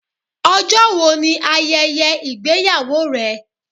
Ọjọ́ wo ni ayẹyẹ ìgbéyàwó rẹ?